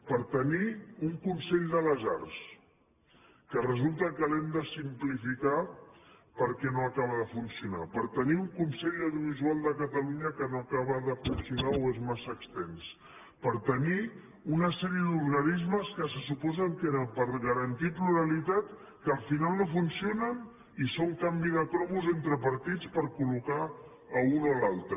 per tenir un consell de les arts que resulta que l’hem de simplificar perquè no acaba de funcionar per tenir un consell audiovisual de catalunya que no acaba de funcionar o és massa extens per tenir una sèrie d’organismes que se suposa que eren per garantir pluralitat que al final no funcionen i que són canvi de cromos entre partits per col·locar a un o l’altre